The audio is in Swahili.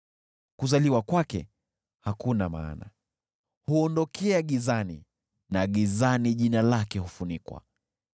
Kuzaliwa kwake hakuna maana, huondokea gizani na gizani jina lake hufunikwa.